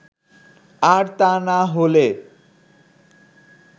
আর তা না হলে